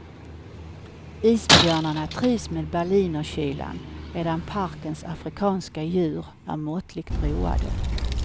Isbjörnarna trivs med berlinerkylan medan parkens afrikanska djur är måttligt roade.